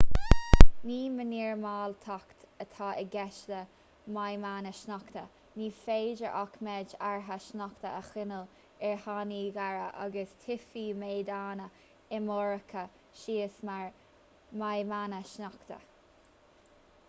ní mínormáltacht atá i gceist le maidhmeanna sneachta ní féidir ach méid áirithe sneachta a choinneáil ar fhánaí géara agus titfidh méideanna iomarcacha síos mar mhaidhmeanna sneachta